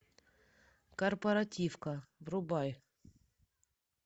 корпоративка врубай